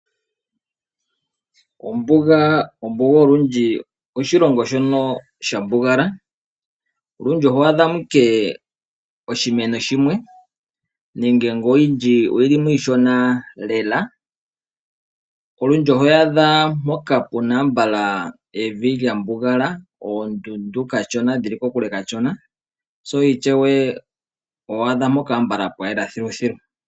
Ombuga olundji ehala ndyoka lya mbugala. Olundji oho adha mo ashike oshimeno shimwe nenge iishonalela. Olundji ohoyi adha mpoka pu na evi lya mbugala, oondundu dhi li kokule kashona. Ishewe oho adha mpoka konyala pwa yela thiluthilu.